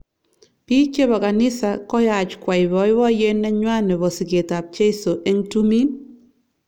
Bik chebo kanisa koyaach kwai boiboyet nenywa nebo siket ab cheiso eng tumin.